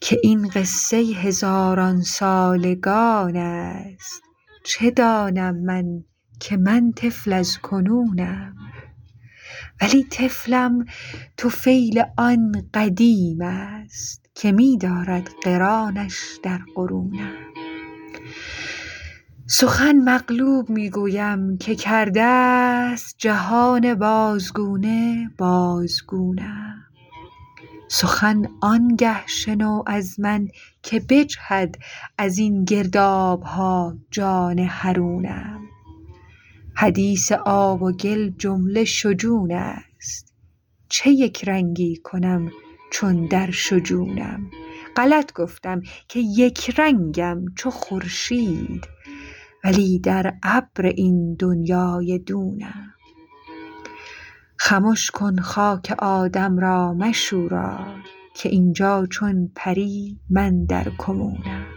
که این قصه هزاران سالگان است چه دانم من که من طفل از کنونم ولی طفلم طفیل آن قدیم است که می دارد قرانش در قرونم سخن مقلوب می گویم که کرده ست جهان بازگونه بازگونم سخن آنگه شنو از من که بجهد از این گرداب ها جان حرونم حدیث آب و گل جمله شجون است چه یک رنگی کنم چون در شجونم غلط گفتم که یک رنگم چو خورشید ولی در ابر این دنیای دونم خمش کن خاک آدم را مشوران که این جا چون پری من در کمونم